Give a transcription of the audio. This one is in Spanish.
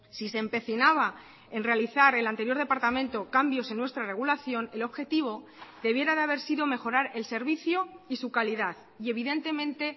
si se empecinaba en realizar el anterior departamento cambios en nuestra regulación el objetivo debiera de haber sido mejorar el servicio y su calidad y evidentemente